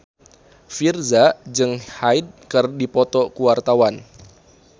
Virzha jeung Hyde keur dipoto ku wartawan